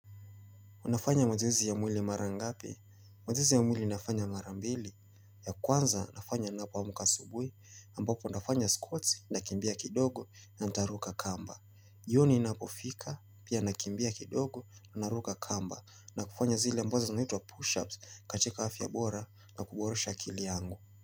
Unafanya mazoezi ya mwili mara ngapi? Mazoezi ya mwili nafanya mara mbili. Ya kwanza nafanya ninapo amka asubuhi ambako nafanya squats nakimbia kidogo na nitaruka kamba. Jioni inapofika pia nakimbia kidogo, naruka kamba na kufanya zile ambazo zinaitwa push-ups katika afya bora na kuboresha akili yangu.